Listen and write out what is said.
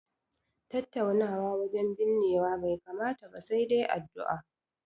Tattaunawa wajen binnewa bai kamata ba, sai dai addu'a.